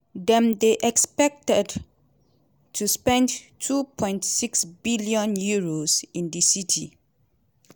dem dey expected to spend two point six billion euros in di city.